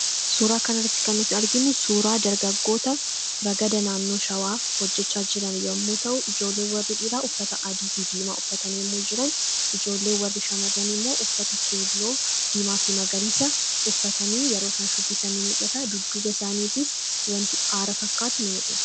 Suuraa kanarratti kannutti arginnu suuraa dargaggoota ragada naannoo shawaa hojjachaa jiran yommuu ta'u, ijoollee warri dhiraa uffata adii fi diimaa uffatanii yommou jiran. Ijoolee warri shamarrani immoo uffata keelloo, diimaa fi magariisa uffatanii yeroo isaan shubbisanii mul'ata dudduuba isaaniitis wanti aara fakkaatu ni mul'atta.